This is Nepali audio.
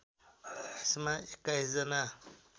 यसमा २१ जना